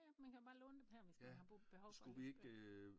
Ja ja man kan jo bare låne dem her hvis man har behov for det